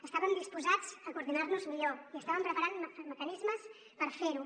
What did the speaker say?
estàvem disposats a coordinar nos millor i estàvem preparant mecanismes per fer ho